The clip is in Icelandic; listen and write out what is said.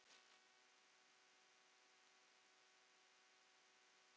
Og hví skildi það vera?